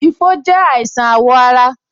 Ifo je àìsàn awo ara